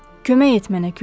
Kömək et mənə külək!